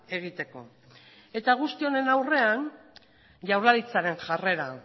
egiteko guzti honen aurrean jaurlaritzaren jarrera